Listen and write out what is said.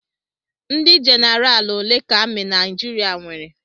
Ndị jenaraal ole ka amị Naijiriia nwere?